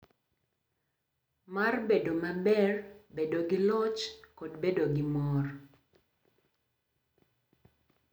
Mar bedo maber, bedo gi loch, kod bedo gi mor .